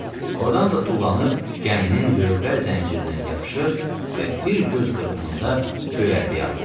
Ordan da tullanıb gəminin lövbər zəncirindən yapışır və bir göz qırpımında göyərtəyə atılır.